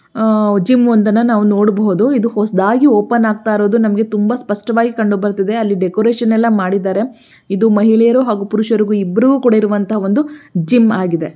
ಆ ಜಿಮ್ ಒಂದನ್ನ ನಾವು ನೋಡಬಹುದು ಇದು ಹೊಸದಾಗಿ ಓಪನ್ ಹಗುತಿರೋದು ನಮಗೆ ತುಂಬಾ ಸ್ಪಷ್ಟವಾಗಿ ಕಂಡುಬರುತಿದೆ ಅಲ್ಲಿ ಡೆಕೊರೇಷನ್ ಎಲ್ಲ ಮಾಡಿದರೆ ಇದು ಮಹಿಳೆಯರು ಹಾಗು ಪುರುಷರು ಇಬ್ಬರಿಗು ಕೂಡ ಇರುವಂತ ಒಂದು ಜಿಮ್ ಆಗಿದೆ.